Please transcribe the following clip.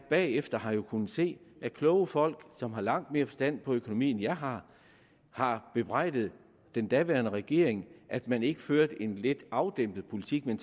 bagefter har jeg kunnet se at kloge folk som har langt mere forstand på økonomi end jeg har har bebrejdet den daværende regering at man ikke førte en lidt afdæmpet politik men